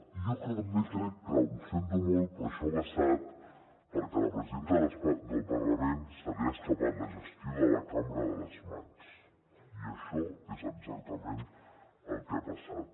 i jo també crec que ho sento molt això ha passat perquè a la presidenta del parlament se li ha escapat la gestió de la cambra de les mans i això és exactament el que ha passat